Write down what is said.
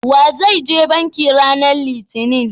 wa zai je banki ranan litinin?